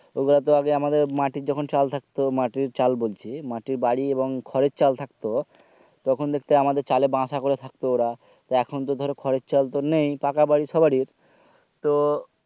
ঐগুলা তো আগে আমাদের মাটির যখন চাল থাকতো মাটির চাল বলছি মাটির বাড়ি এবং খড়ের চাল থাকতো তখন দেখতে আমাদের খড়ের চাল চলে বাসা করে থাকতো ওরা এখন তো ধরো খড়ের চাল তো নেই পাকা বাড়ি সবাড়ির তো